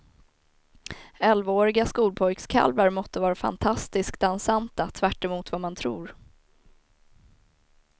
Elvaåriga skolpojkskalvar måtte vara fantastiskt dansanta, tvärt emot vad man tror.